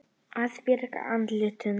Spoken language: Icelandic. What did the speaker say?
Að bjarga andlitinu